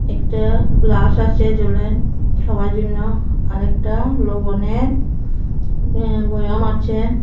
একটা গ্লাস আসে জলের খাওয়ার জন্য আর একটা লবণের উম বয়ম আছে।